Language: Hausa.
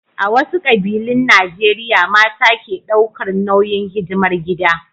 A wasu ƙabilun Najeriya mata ke ɗaukar nauyin hidimar gida.